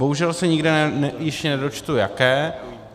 Bohužel se nikde již nedočtu jaké.